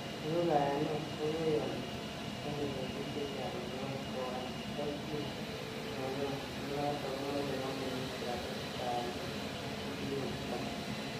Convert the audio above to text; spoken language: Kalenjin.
Ni ko kayanet nekoyoni, nekete bik chechang en gwony kowal tokyin nenywan, nenoton komoche kompunit walet amun kikobutok.